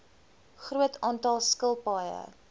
groot aantal skilpaaie